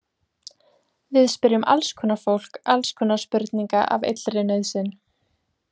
Við spyrjum alls konar fólk alls konar spurninga af illri nauðsyn.